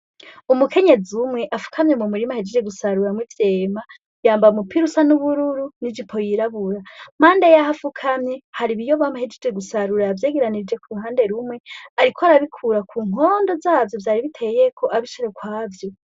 Umukenyezi umwe afukamye mumurima ahejeje gusaruramwo Ivyema yambaye umupira usa nubururu n’ijipo yirabura. Impande yaho amfukamye hari Ibiyoba ahejeje gusarura yavyegeranirije kuruhande rumwe ariko arabikura kunkondo zavyo vyari biteyeko abishira ukwavyo.